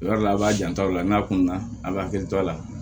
Yɔrɔ la a b'a janto o la n'a kunna a bɛ hakili to a la